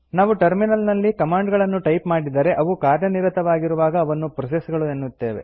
ನಾವು ಟರ್ಮಿನಲ್ ನಲ್ಲಿ ಕಮಾಂಡ್ ಗಳನ್ನು ಟೈಪ್ ಮಾಡಿದರೆ ಅವುಗಳು ಕಾರ್ಯನಿರತವಾಗಿರುವಾಗ ಅವನ್ನು ಪ್ರೋಸೆಸ್ ಗಳು ಎನ್ನುತ್ತೇವೆ